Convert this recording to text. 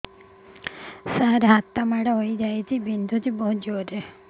ସାର ହାତ ମାଡ଼ ହେଇଯାଇଛି ବିନ୍ଧୁଛି ବହୁତ ଜୋରରେ